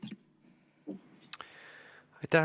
Aitäh!